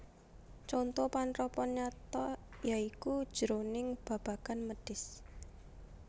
Conto panrapan nyata ya iku jroning babagan mèdhis